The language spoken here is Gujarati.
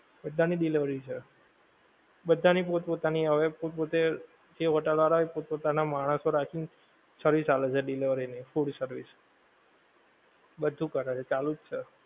બધાની delivery છે. બધાની પોત પોતાની હવે પોત પોતે જે હોટેલ વાળાં ઓ એ પોત પોતાનાં માણસો રાખી ને service આલે છે delivery ની food service બધુ કરે છે ચાલુ જ છે.